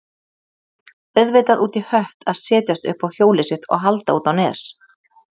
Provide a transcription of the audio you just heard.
Auðvitað út í hött að setjast upp á hjólið sitt og halda út á Nes.